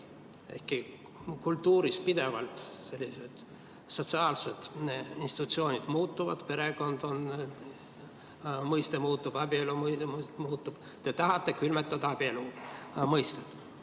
Ehkki kultuuris pidevalt sellised sotsiaalsed institutsioonid muutuvad, perekonna mõiste muutub, abielu mõiste muutub, te tahate külmutada abielu mõistet.